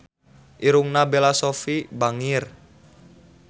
Irungna Bella Shofie bangir